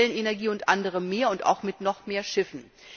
aus Wellenenergie und anderem mehr und auch mit noch mehr Schiffen.